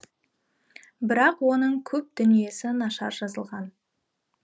бірақ оның көп дүниесі нашар жазылған